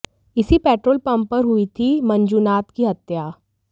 इसी petrol pump पर हुई थी मंजूनाथ की हत्या